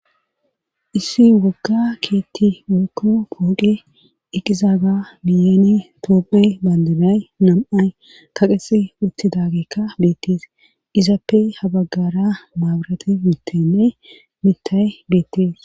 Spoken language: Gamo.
issi wogga keetti woyko pooqe iqizaaga miyani toophey bandanay nam7ay kaqesi utti dagekka beettees izappe habaggara maaburati muuttenne mitay beettees